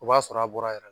O b'a sɔrɔ a bɔra yɛrɛ